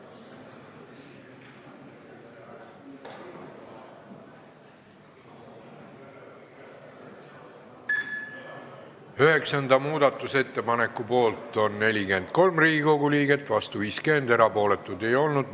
Hääletustulemused Üheksanda muudatusettepaneku poolt on 43 ja vastu 50 Riigikogu liiget, erapooletuid ei olnud.